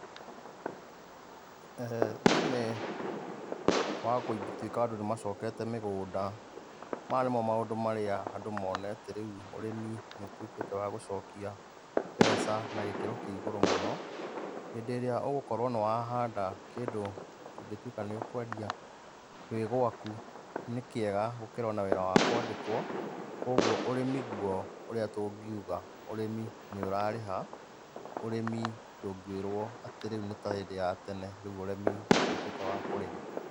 Thĩĩnĩ wa gũtuĩka andũ nĩ macokete mĩgũnda, maya nĩmo maũndũ marĩa andũ monete rĩu ũrĩmi nĩũtuĩkĩte wa gũcokia mbeca na gĩkĩro kĩ igũrũ mũno. Hĩndĩ ĩrĩa ũgũkorwo nĩ wahanda kĩndũ kĩngĩtuĩka nĩ ũkwendia wĩ gwaku, nĩ kĩega gũkĩra o na wĩra wa kwandĩkwo, kũguo ũrĩmĩ guo ũrĩa tũngiuga ũrĩmi nĩ ũrarĩha, ũrĩmi ndũngĩrwo atĩ rĩu nĩ ta hĩndĩ ya tene, rĩu ũrĩmi nĩ ũtuĩkĩte wa kũrĩha.